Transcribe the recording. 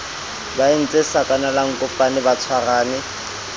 ba entse sakanalankope ba tshwarane